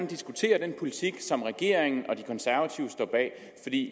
diskutere den politik som regeringen og de konservative står bag